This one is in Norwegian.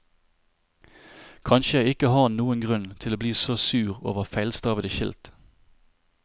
Kanskje jeg ikke har noen grunn til å bli så sur over feilstavete skilt.